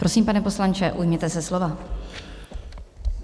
Prosím, pane poslanče, ujměte se slova.